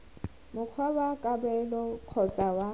mokgwa wa kabelo kgotsa wa